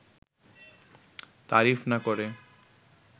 তারিফ না করে